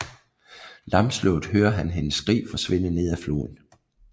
Lamslået hører han hendes skrig forsvinde nedad floden